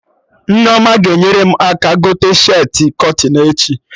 Nneoma ga-enyere m aka gote shirtị kọtịn echi